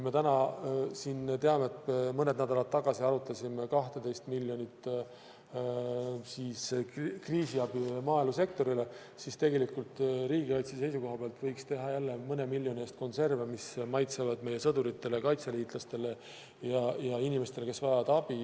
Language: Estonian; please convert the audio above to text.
Me täna teame, et mõni nädal tagasi arutasime 12 miljoni suuruse kriisiabi andmist maaelusektorile, siis tegelikult riigikaitse seisukohalt võiks teha jälle mõne miljoni eest konserve, mis maitsevad meie sõduritele, kaitseliitlastele ja inimestele, kes vajavad abi.